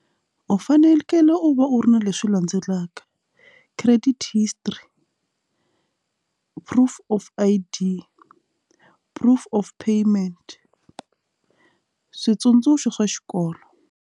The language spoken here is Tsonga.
U fanekele u va u ri na leswi landzelaka credit history proof of I_D proof of payment switsundzuxo swa xikolo.